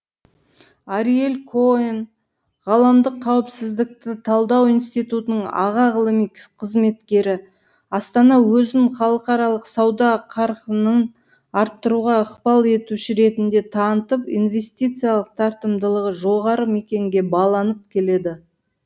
ариель коэн ғаламдық қауіпсіздікті талдау институтының аға ғылыми қызметкері астана өзін халықаралық сауда қарқынын арттыруға ықпал етуші ретінде танытып инвестициялық тартымдылығы жоғары мекенге баланып келеді